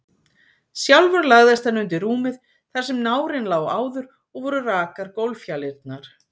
Sjálfur lagðist hann undir rúmið þar sem nárinn lá áður, og voru rakar gólffjalirnar.